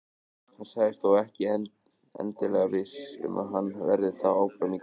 Hann sagðist þó ekki endilega viss um að hann verði þá áfram í Grindavík.